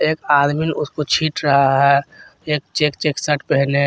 एक आदमी उसको छींट रहा है एक चेक चेक शर्ट पहने है।